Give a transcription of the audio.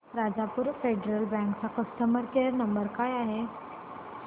Rajapur federal bank चा customer care number काय आहे